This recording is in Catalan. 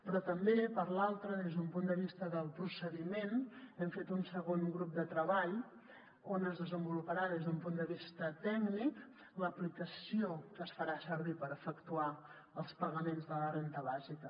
però també per l’altra des d’un punt de vista del procediment hem fet un segon grup de treball on es desenvoluparà des d’un punt de vista tècnic l’aplicació que es farà servir per efectuar els pagaments de la renda bàsica